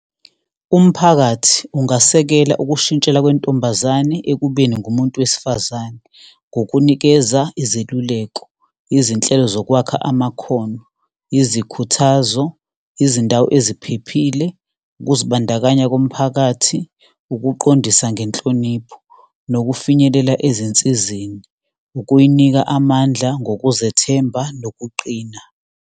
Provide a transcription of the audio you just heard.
Umphakathi ungasekela ukushintshela kwentombazane ekubeni ngumuntu wesifazane, ngokunikeza izeluleko, izinhlelo zokwakha amakhono, izikhuthazo, izindawo eziphephile, ukuzibandakanya komphakathi, ukuqondisa ngenhlonipho nokufinyelela ezinsizeni, ukuyinika amandla ngokuzethemba nokuqina.